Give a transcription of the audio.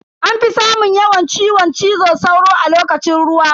Anfi samun yawan ciwon cizo sauro a lokacin ruwa.